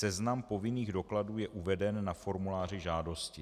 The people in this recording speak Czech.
Seznam povinných dokladů je uveden na formuláři žádosti.